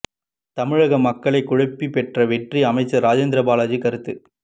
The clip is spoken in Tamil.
தமிழக மக்களை குழப்பி பெற்ற வெற்றி அமைச்சர் ராஜேந்திர பாலாஜி கருத்து